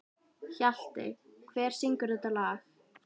Hjaltey, hver syngur þetta lag?